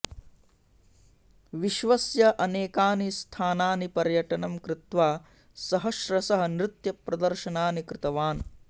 विश्वस्य अनेकानि स्थानानि पर्यटनं कृत्वा सहस्रशः नृत्यप्रदर्शनानि कृतवान्